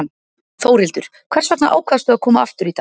Þórhildur: Hvers vegna ákvaðstu að koma aftur í dag?